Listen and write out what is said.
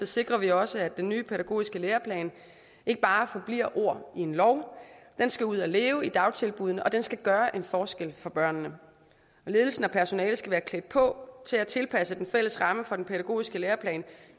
sikrer vi også at den nye pædagogiske læreplan ikke bare forbliver ord i en lov den skal ud at leve i dagtilbuddene og den skal gøre en forskel for børnene ledelsen og personalet skal være klædt på til at tilpasse den fælles ramme for den pædagogiske læreplan